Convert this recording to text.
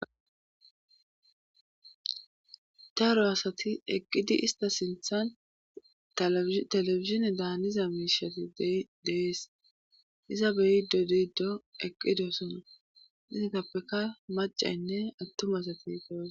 daaro asati eqqidi ista sinthan telebizhine daaniza miishati deees iza beyiddo diiddo eqqidosona isitappeka macaynne attuma asati de'osona